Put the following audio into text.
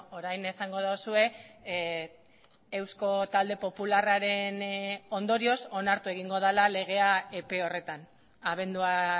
orain esango duzue eusko talde popularraren ondorioz onartu egingo dela legea epe horretan abendua